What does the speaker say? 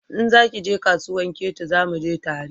In za ki je kasuwan Ketu zamu je tare